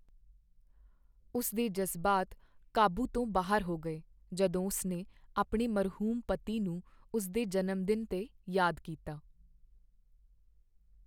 ਉਸ ਦੇ ਜਜ਼ਬਾਤ ਕਾਬੂ ਤੋਂ ਬਾਹਰ ਹੋ ਗਏ ਜਦੋਂ ਉਸਨੇ ਆਪਣੇ ਮਰਹੂਮ ਪਤੀ ਨੂੰ ਉਸ ਦੇ ਜਨਮਦਿਨ 'ਤੇ ਯਾਦ ਕੀਤਾ।